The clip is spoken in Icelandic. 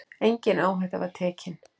Engin áhætta var tekin.